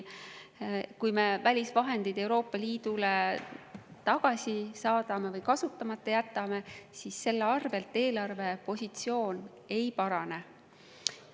Kui me välisvahendid Euroopa Liidule tagasi saadame või kasutamata jätame, siis selle tõttu eelarvepositsioon ei parane.